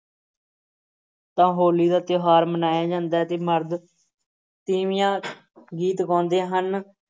ਤਾਂ ਹੋਲੀ ਦਾ ਤਿਉਹਾਰ ਮਨਾਇਆ ਜਾਂਦਾ ਹੈ ਤੇ ਮਰਦ ਤੀਵੀਆਂ ਗੀਤ ਗਾਉਂਦੇ ਹਨ।